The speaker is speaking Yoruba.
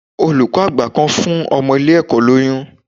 Olùkọ́ àgbà kan fún ọmọ ilé ẹ̀kọ́ lóyún.